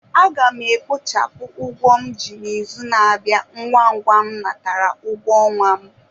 A ga m e kpochapụ ụgwọ m ji n'izù n'abia ngwa ngwa m natara ụgwọ ọnwa m